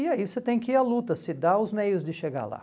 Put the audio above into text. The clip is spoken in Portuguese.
E aí você tem que ir à luta, se dar os meios de chegar lá.